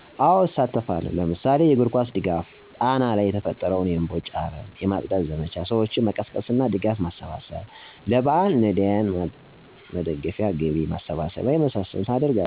አዎ እሳተፋለሁ ለምሳሌ የእግርኳስ ድገፋ ጣና ላይ የተፈጠረውን የእምቦጭ አረም የማፅዳት ዘመቻ ሰዎችን መቀስቀስ እና ድጋፍ ማሰባሰብ ለበኣል ነዳያን ማግደፊያ ገቢ ማሰባሰብ የመሳሰሉትን አደርጋለሁ።